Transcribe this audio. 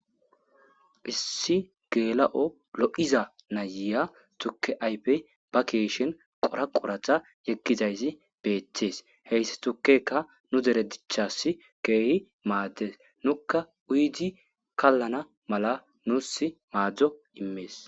issi geela7o lo7iza nayiya tukke aype ba keeshin qora qoratha yekkizaysi beetees heyssi tukkeka nu dere dichass keehi maaddes nukka uydi kallana mala nuus maadzdzo immees